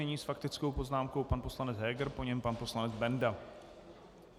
Nyní s faktickou poznámkou pan poslanec Heger, po něm pan poslanec Benda.